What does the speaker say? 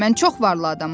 Mən çox varlı adamam.